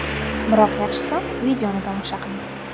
Biroq yaxshisi, videoni tomosha qiling.